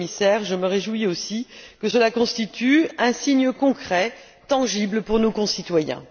le Commissaire, je me réjouis aussi que cela constitue un signe concret, tangible pour nos concitoyens.